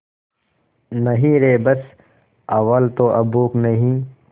नहीं रे बस अव्वल तो अब भूख नहीं